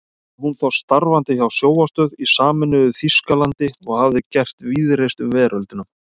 Var hún þá starfandi hjá sjónvarpsstöð í sameinuðu Þýskalandi og hafði gert víðreist um veröldina.